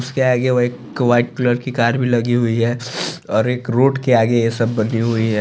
उसके आगे वो एक वाइट कलर की कार भी लगी हुई है और वो रोड के आगे ये सब बनी हुई है ।